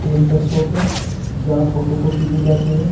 Printer shop है जहां photo copy की जाती है।